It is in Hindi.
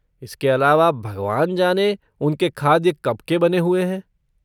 इसके अलावा, भगवान जाने, उनके खाद्य कब के बने हुए हैं।